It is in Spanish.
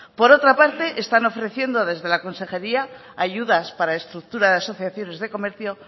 por otra parte están ofreciendo desde la consejería ayudas para estructura de asociaciones de comercio